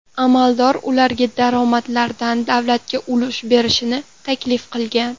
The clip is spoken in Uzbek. Amaldor ularga daromadlaridan davlatga ulush berishni taklif qilgan.